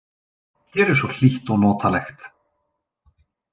Hér er svo hlýtt og notalegt.